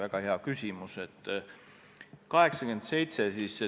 Väga hea küsimus!